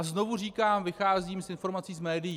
A znovu říkám, vycházím z informací z médií.